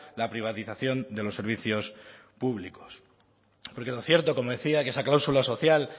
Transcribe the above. la privatización de los servicios públicos porque lo cierto como decía que esa cláusula social